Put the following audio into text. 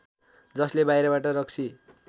जसले बाहिरबाट रक्सी